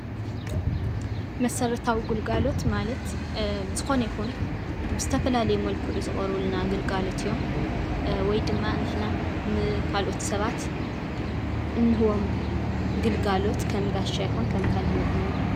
መሰረታዊ ግልጋሎት ማለት ዝኾነ ይኹን ብዝተፈላለየ መልክዑ ዝቐርቡልና ግልጋሎት እዮም፡፡ ወይ ድማ ንሕና ንካልኦት ሰባት እንህቦም ግልጋሎት ከም ጋሻ ይኹን ከም ካልእ መጠን እዩ፡፡